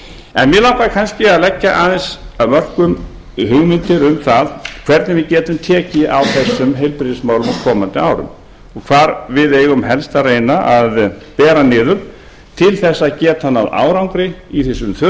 en mig langar kannski að leggja aðeins af mörkum hugmyndir um það hvernig við getum tekið á þessum heilbrigðismálum á komandi árum og hvar við eigum helst að reyna að bera niður til að geta náð árangri í því sem við þurfum